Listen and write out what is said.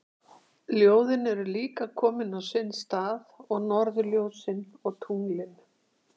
Ljóðin eru líka komin á sinn stað og norðurljósin og tunglin.